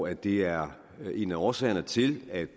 at det er en af årsagerne til at